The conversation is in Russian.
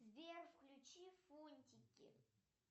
сбер включи фунтики